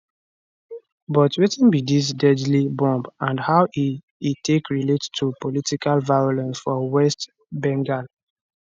but wetin be dis deadly bomb and how e e take relate to political violence for west bengal